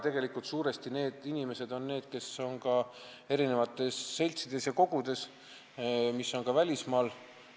Tegelikult on need suuresti need inimesed, kes osalevad ka erinevates seltsides ja kogudes, mis tegutsevad välismaal.